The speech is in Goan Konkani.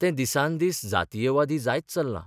तें दिसान दीस जातीयवादी जायत चल्लां.